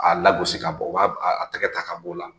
A lagosi ka bɔ u b'a tɛgɛ ta ka bɔ o la.